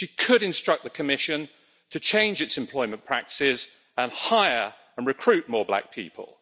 She could instruct the Commission to change its employment practices and hire and recruit more black people.